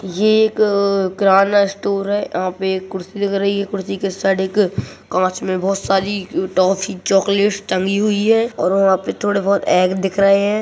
ये एक किराना स्टोर है यहाँ पे एक कुर्सी दिख रही है कुर्सी के इस साइड एक कांच में भोत सारी टॉफ़ी चॉकलेट्स टँगी हुई हैं और वहाँ पे थोड़े भोत एग दिख रहे हैं।